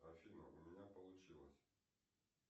афина у меня получилось